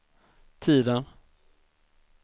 tiden